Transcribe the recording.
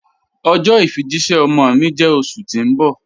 Ọjọ ifijìṣẹ̀ ọmọ mi jẹ́ oṣù ti n bọ̀.